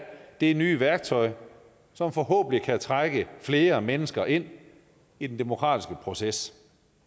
det nye værktøj som forhåbentlig kan trække flere mennesker ind i den demokratiske proces